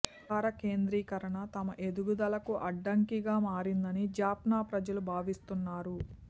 అధికార కేంద్రీకరణ తమ ఎదుగుదలకు అడ్డంకిగా మారిందని జాఫ్నా ప్రజలు భావిస్తున్నారు